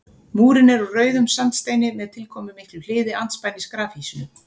Múrinn er úr rauðum sandsteini með tilkomumiklu hliði andspænis grafhýsinu.